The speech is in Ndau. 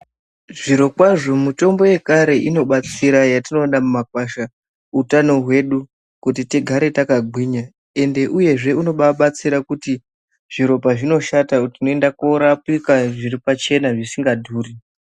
Zvirokwazo mitombo yekare inobatsira yatinowona mumakwasha hutano hwedu, kuti tigare takagwinya. Ende uyezve unebabatsira kuti zviro pazvinoshata tinonda korapika zviripachena zvisingadhuri.